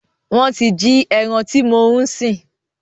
Wọn tí jí ẹran tí mo ń sìn